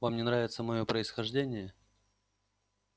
вам не нравится моё происхождение